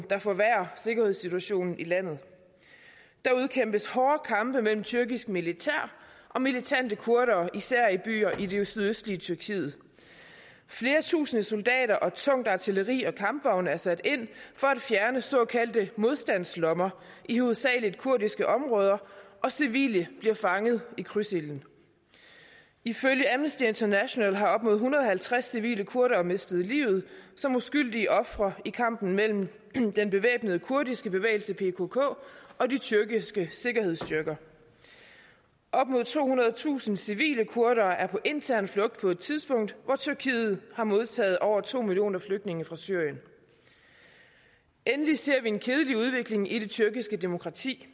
der forværrer sikkerhedssituationen i landet der udkæmpes hårde kampe mellem tyrkisk militær og militante kurdere især i byer i det sydøstlige tyrkiet flere tusinde soldater og tungt artilleri og kampvogne er sat ind for at fjerne såkaldte modstandslommer i hovedsagelig kurdiske områder og civile bliver fanget i krydsilden ifølge amnesty international har op mod en hundrede og halvtreds civile kurdere mistet livet som uskyldige ofre i kampen mellem den bevæbnede kurdiske bevægelse pkk og de tyrkiske sikkerhedsstyrker op mod tohundredetusind civile kurdere er på intern flugt på et tidspunkt hvor tyrkiet har modtaget over to millioner flygtninge fra syrien endelig ser vi en kedelig udvikling i det tyrkiske demokrati